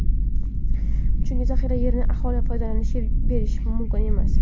Chunki zaxira yerini aholi foydalanishiga berish mumkin emas.